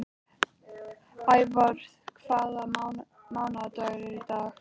Ævör, hvaða mánaðardagur er í dag?